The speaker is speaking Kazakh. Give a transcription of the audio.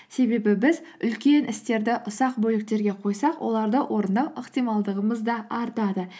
себебі біз үлкен істерді ұсақ бөліктерге қойсақ оларды орындау ықтималдығымыз да артады